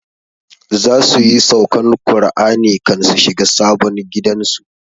Za su yi saukan Kur'ani kan su shiga sabon gidan su